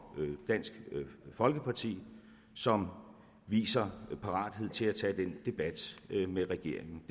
dansk folkeparti som viser parathed til at tage den debat med regeringen